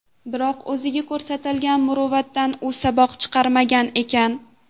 Biroq, o‘ziga ko‘rsatilgan muruvvatdan u saboq chiqarmagan ekan.